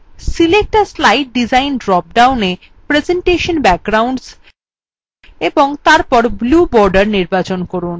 select a slide design drop downa presentation backgrounds এবং তারপর blue border নির্বাচন করুন